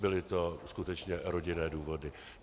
Byly to skutečně rodinné důvody.